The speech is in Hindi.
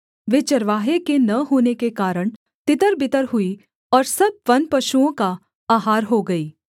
वे चरवाहे के न होने के कारण तितरबितर हुई और सब वनपशुओं का आहार हो गई